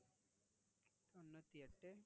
தொண்ணூத்தி எட்டு